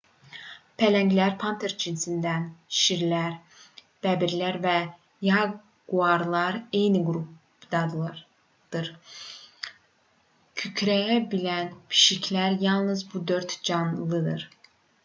pələnglər panter cinsindən şirlər bəbirlər və yaquarlarla eyni qrupdandır. kükrəyə bilən pişiklər yalnız bu dörd canlıdır